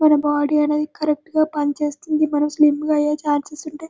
మన బాడీ అనేది కరెక్టు గా పనిచేస్తుంది మనము స్లిమ్ గ అయ్యే ఛాన్సెస్ ఉంటె.